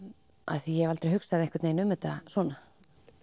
því ég hef aldrei hugsað um þetta svona